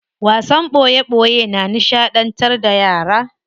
Wasan boye boye na nishadantar da yara.